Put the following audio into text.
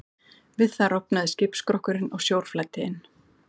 Við það rofnaði skipsskrokkurinn og sjór flæddi inn.